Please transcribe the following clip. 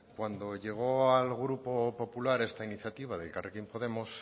cuando llegó al grupo popular esta iniciativa de elkarrekin podemos